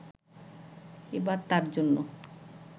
এবার তাঁর জন্য